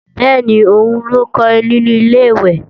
Bẹ́ẹ̀ni, òun ló ń kọrin nínu Ilé-ìwẹ̀